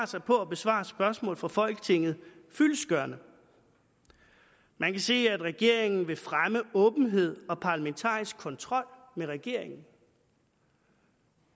sig på at besvare spørgsmål fra folketinget fyldestgørende man kan se at regeringen vil fremme åbenhed og parlamentarisk kontrol med regeringen